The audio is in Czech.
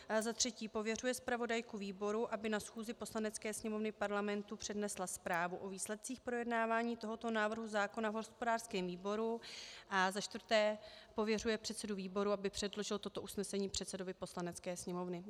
Za třetí pověřuje zpravodajku výboru, aby na schůzi Poslanecké sněmovny Parlamentu přednesla zprávu o výsledcích projednávání tohoto návrhu zákona v hospodářském výboru, a za čtvrté pověřuje předsedu výboru, aby předložil toto usnesení předsedovi Poslanecké sněmovny.